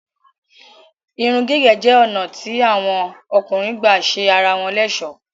Èrùn-gígẹ̀ jẹ́ onà tí awọn ọ̀kùnrin gbà sẹ ara wọn l'ẹ̀sọ́.